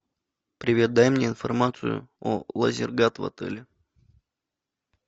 привет дай мне информацию о лазергат в отеле